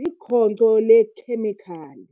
likhonkco leekhemikhali.